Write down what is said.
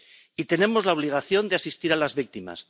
Y tenemos la obligación de asistir a las víctimas.